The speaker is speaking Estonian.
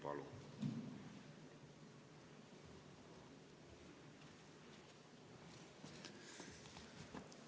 Palun!